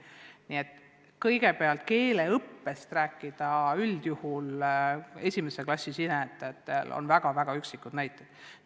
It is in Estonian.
Nii et kui keeleõppest rääkida esimesse klassi astujate puhul, siis selle kohta on väga üksikud näited.